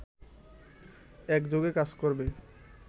একযোগে কাজ করবে